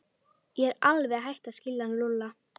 Ég er alveg hætt að skilja hann Lúlla.